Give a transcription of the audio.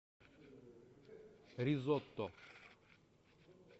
ризотто